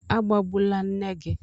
Agbabula nne gị!